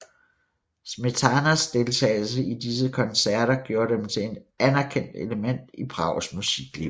Smetanas deltagelse i disse koncerter gjorde dem til et anerkendt element i Prags musikliv